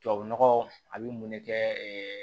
Tubabu nɔgɔ a bɛ mun ne kɛ